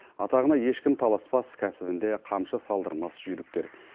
атағына ешкім таласпас кәсібінде қамшы салдырмас жүйріктер